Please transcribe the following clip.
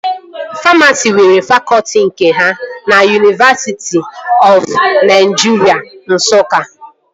Famasi nwere fakọtị nke ha na Yunivesiti ọf Naịjiria Nsụka